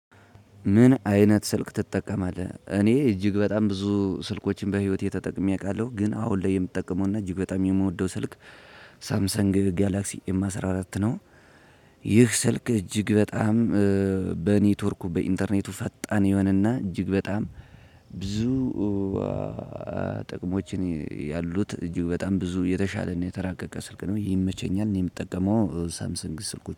ምን አይነት ስልክ ትጠቀማለህ? እኔ እጅግ በጣም ብዙ ስልኮችን በህይወቴ ተጠቅሜ አውቃለሁ ግን አሁን ላይ የምጠቀመውና እጅግ በጣም የምወደው ስልክ ሳምሰንግ ጋላክሲ ኤም አስራ አራት ነው። ይህ ስልክ እጅግ በጣም በኔትወርኩ በኢንተርኔቱ ፈጣን ይሆንና እጅግ በጣም ብዙ ጥቅሞችን ያሉት እጅግ በጣም ብዙ የተሻለ ነው የተራቀቀ ስልክ ነው ይመቸኛል የምጠቀመው ሳምሰንግ ስልኮች